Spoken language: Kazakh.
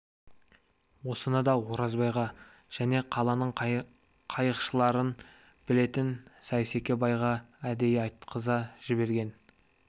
осыны да оразбайға және қаланың қайықшыларын білетін сейсеке байға әдейі айтқыза жіберген